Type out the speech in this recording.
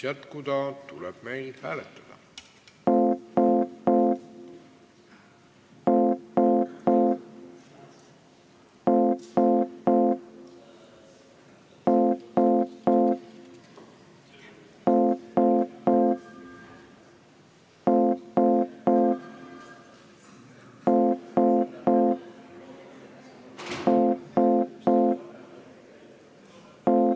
Austatud Riigikogu!